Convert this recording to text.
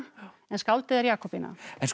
en skáldið er Jakobína